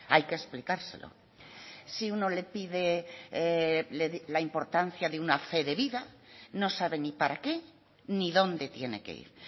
hay que explicárselo si uno le pide la importancia de una fe de vida no sabe ni para qué ni dónde tiene que ir